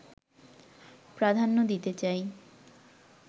প্রাধান্য দিতে চাই